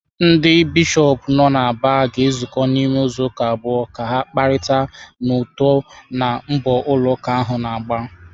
Ndị Bishọp nọ n’Aba ga-ezukọ n’ime izuụka abụọ ka ha kparịta n’uto na mbọ ụlọ ụka ahụ na-agba.